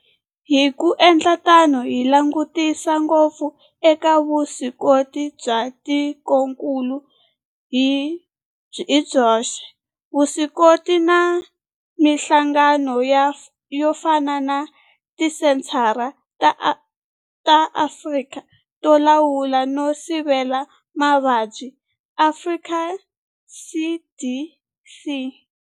Hi ku endla tano hi langutisa ngopfu eka vuswikoti bya tikokulu hi byoxe, vuswikoti na mihlangano yo fana na Tisenthara ta Afrika to Lawula no Sivela Mavabyi, Afrika CDC.